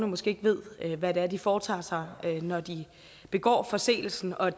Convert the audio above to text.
måske ikke ved hvad de foretager sig når de begår forseelsen og